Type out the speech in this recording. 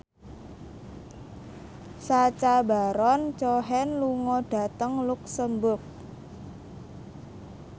Sacha Baron Cohen lunga dhateng luxemburg